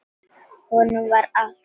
Honum var vart hugað líf.